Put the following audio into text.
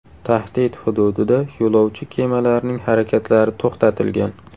Tahdid hududida yo‘lovchi kemalarining harakatlari to‘xtatilgan.